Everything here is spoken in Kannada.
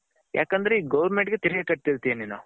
ಯಾಕಂದ್ರೆ ಗೊವೆರ್ಮೆಂಟ್ ಗೆ ತೆರಿಗೆ ಕಟ್ತಿರ್ತ್ಯ ನೀನು .